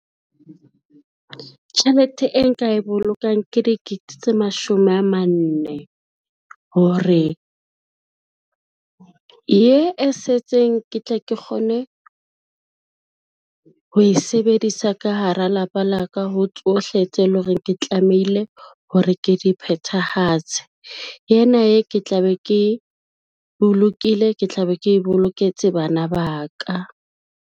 Tjhelete e nka e bolokang ke dikete tse mashome a manne, hore ye e setseng ke tle ke kgone ho e sebedisa ka hara lapa la ka ho tsohle tse leng hore ke tlamehile hore ke di phethahatse, ena e ke tla be ke bolokile ke tla be ke boloketse bana ba ka.